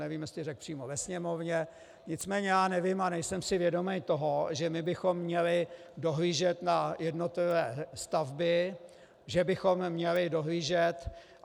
Nevím, jestli řekl přímo ve Sněmovně, nicméně já nevím a nejsem si vědom toho, že my bychom měli dohlížet na jednotlivé stavby, že bychom měli dohlížet...